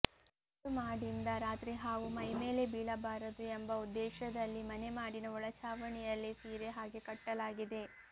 ಹುಲ್ಲು ಮಾಡಿಂದ ರಾತ್ರಿ ಹಾವು ಮೈಮೇಲೆ ಬೇಳಬಾರದು ಎಂಬ ಉದ್ದೇಶದಲ್ಲಿ ಮನೆ ಮಾಡಿನ ಒಳಛಾವಣಿಯಲ್ಲಿ ಸೀರೆ ಹಾಗೆ ಕಟ್ಟಿಲಾಗಿದೆ